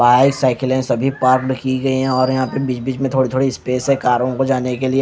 बाईसाइकिले सभी पार्कड की गई है और यहां पर बीच बीच मे थोड़ी थोड़ी स्पेस है कारों को जाने के लिए।